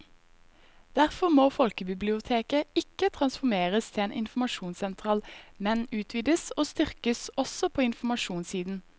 Derfor må folkebiblioteket ikke transformeres til en informasjonssentral, men utvides og styrkes også på informasjonssiden.